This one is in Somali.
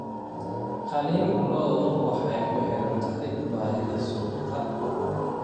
Qalin lo'du waxay ku xiran tahay baahida suuqa.